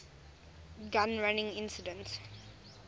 gun running incident